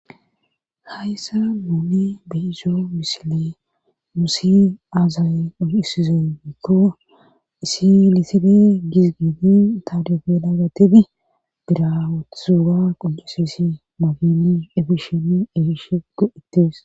hayssa nuuni beizo misile musi aazay unhusize diikko isi liside gisgiidi taadufe naagatibi bira wutusuga qudusesi magili efisheni ehishe go7ettes